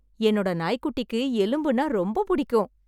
என்னோட நாய் குட்டிக்கு எலும்புனா ரொம்ப பிடிக்கும்